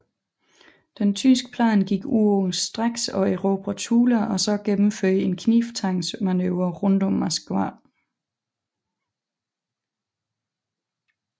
Den tyske plan gik ud på straks at erobre Tula og så gennemføre en knibtangsmanøvre rundt om Moskva